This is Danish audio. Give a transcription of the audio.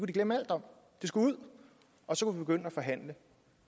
de glemme alt om det skulle ud og så kunne vi at forhandle